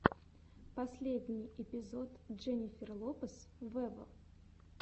последний эпизод дженнифер лопес вево